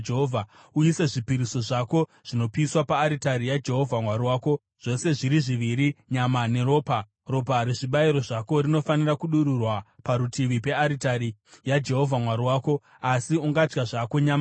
Uise zvipiriso zvako zvinopiswa paaritari yaJehovha Mwari wako, zvose zviri zviviri, nyama neropa. Ropa rezvibayiro zvako rinofanira kudururwa parutivi pearitari yaJehovha Mwari wako, asi ungadya zvako nyama yacho.